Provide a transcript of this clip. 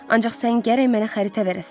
Ancaq sən gərək mənə xəritə verəsən.